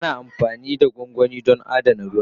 Ana amfani da gwangwani don adana ruwa.